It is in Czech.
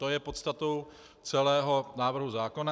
To je podstatou celého návrhu zákona.